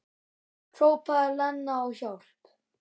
Hrópaði Lena á hjálp?